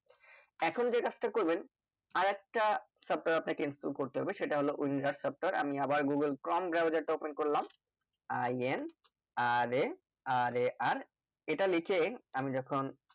এখন যে কাজটা করবেন আরেকটা software আপনাকে install করতে হবে সেটা হলো windows software আমি আবার google-chrome-browser টা open করলাম inrarar এটা লিখে আমি যখন